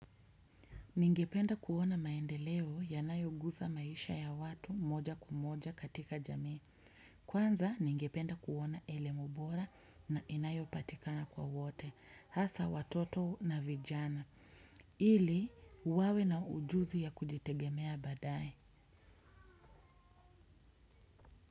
Ningependa kuona maendeleo yanayoguza maisha ya watu moja kwa moja katika jamii. Kwanza ningependa kuona elemu bora na inayopatikana kwa wote. Hasa watoto na vijana. Ili, wawe na ujuzi ya kujitegemea baadaye.